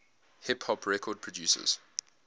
hip hop record producers